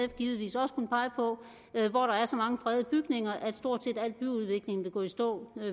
givetvis også kunne pege på hvor der er så mange fredede bygninger at stort set al byudvikling vil gå i stå